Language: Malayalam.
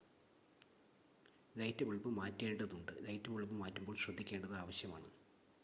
ലൈറ്റ് ബൾബ് മാറ്റേണ്ടതുണ്ട് ലൈറ്റ് ബൾബ് മാറ്റുമ്പോൾ ശ്രദ്ധിക്കേണ്ടത് ആവശ്യമാണ്